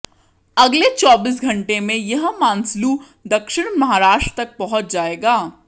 अगले चौबीस घंटों में यह मानसलू दक्षिण महाराष्ट्र तक पहुंच जाएगा